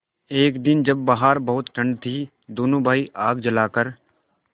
एक दिन जब बाहर बहुत ठंड थी दोनों भाई आग जलाकर